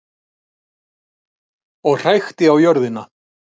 Og hrækti á jörðina.